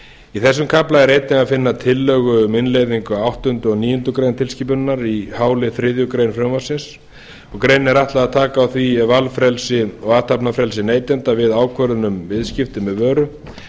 í þessum kafla er einnig að finna tillögu um innleiðingu á áttunda og níundu grein tilskipunarinnar í h lið þriðju greinar frumvarpsins greininni er ætlað að taka á því ef valfrelsi og athafnafrelsi neytenda við ákvörðun um viðskipti með vöru